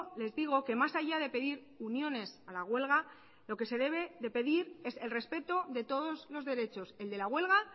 les digo que más allá de pedir uniones a la huelga lo que se debe de pedir es el respeto de todos los derechos el de la huelga